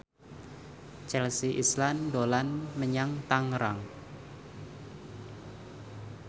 Chelsea Islan dolan menyang Tangerang